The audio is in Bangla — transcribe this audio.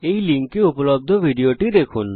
এই url এ উপলব্ধ ভিডিওটি দেখুন